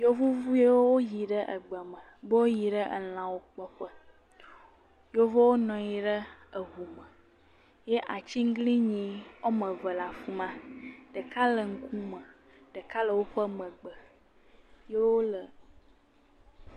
yevu viwo wo yi ɖe egbeme, be wo yi ɖe elãwo kpɔ ƒe, yevowo nanyi le eʋu me, ye atsīglinyi ɔme eve le afima, ɖeka le ŋukume, ɖeka le o ƒe megbe, yo le.